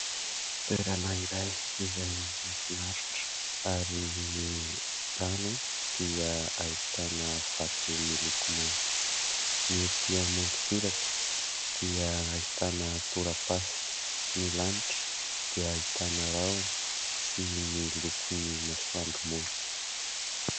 Toerana iray izay mahafinaritra ary ny rano dia ahitàna vato miloko mainty. Ny etỳ amoron-tsiraka dia ahitàna tora-pasika. Ny lanitra dia ahitàna rahona sy ny lokon'ny masoandro mody.